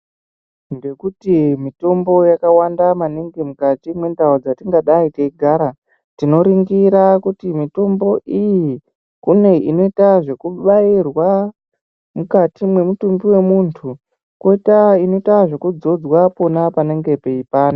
Ndekuti mitombo yakawanda maningi mukati mwendau dzatingadai teigara tinoringira kuti mitombo iyi kune inoita zvekubairwa mukati mwemutumbi wemunthu koita inoita zvekudzodzwa pona panenge peipanda.